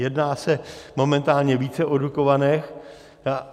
Jedná se momentálně více o Dukovanech.